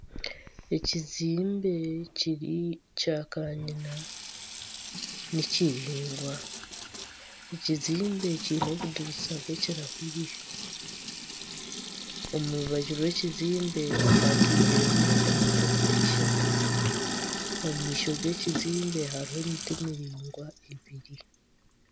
Ekizimbe kiri kya kanyina ni kiraingwa. Ekizimbe kiine obudirisa bw'ekirahuri. Omu rubaju rw'ekizimbe hapakingiremu emotoka eishatu. omu maisho g'ekizimbe hariho emiti miringwa ebiri